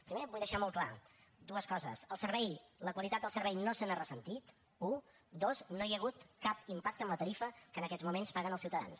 primer vull deixar molt clares dues coses el servei la qualitat del servei no se n’ha ressentit u dos no hi ha hagut cap impacte en la tarifa que en aquests moments paguen els ciutadans